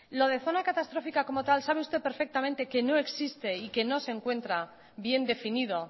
lo de zona catastrófica como tal sabe usted perfectamente que no existe y que no se encuentra bien definido